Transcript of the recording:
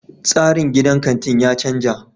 Tsarin gidan kantin ya canza.